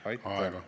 Aitäh!